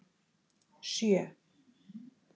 sjö